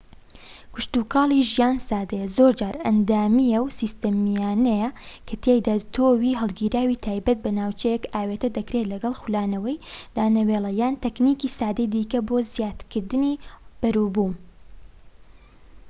کشتوکاڵی ژیان سادەیە زۆرجار ئەندامیە و سیستەمیانەیە کەتیایدا تۆوی هەڵگیراوی تایبەت بە ناوچەیەک ئاوێتە دەکرێت لەگەڵ خولانەوەی دانەوێڵە یان تەکنیکی سادەی دیکە بۆ زیاترکردنی بەرووبوم